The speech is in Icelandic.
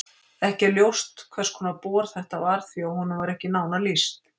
Ekki er ljóst hvers konar bor þetta var því að honum er ekki nánar lýst.